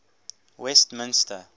westminster